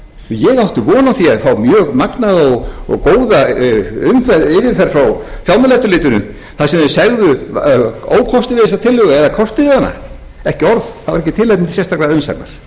ég átti von á því að fá mjög magnaða og góða umsögn frá fjármálaeftirlitinu þar sem þeir segðu ókosti við þessa tillögu eða kosti við hana ekki orð það var ekki tilefni til sérstakrar umsagnar og